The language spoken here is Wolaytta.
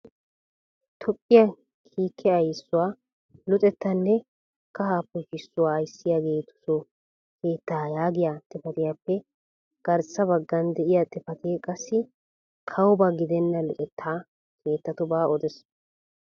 Toophiyaa kiike ayssuwaa luxettanne kaha poshshisuwaa ayssiyaageetuooso keetta yaagiya xifatiyappe garssa baggan de'iyaa xifatee qassi kawoba giddena luxetta keettatuba odees.